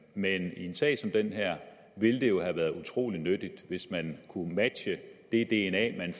men i en sag som den her ville det jo have været utrolig nyttigt hvis man kunne matche det dna man